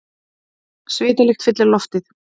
Svitalykt fyllir loftið.